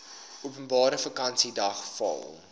openbare vakansiedag val